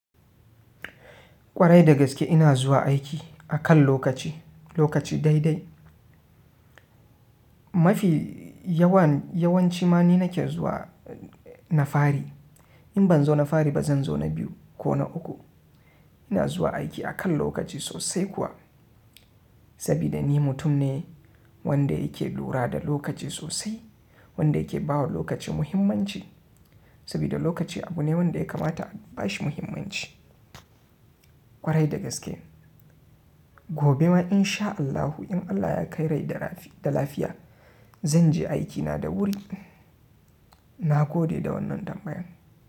Kwarai da gaske ina zuwa aiki akan lokaci, lokaci daidai. Mafi yawan yawanci ma ni nake zuwa na fari. In ban zo na fari ba zan zo na biyu ko na uku. Ina zuwa aiki akan lokaci sosai kuwa, saboda ni mutum ne wanda yake lura da lokaci sosai, wanda yake bawa lokaci muhimmanci. Saboda lokaci abu ne wanda ya kamata a bashi muhimmanci. Kwarai da gaske. Gobe ma in sha Allahu in Allah ya kai rai da lafiya, zan je aikina da wuri. Na gode da wannan tambayan.